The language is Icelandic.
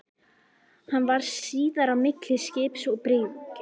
Hann varð síðar á milli skips og bryggju.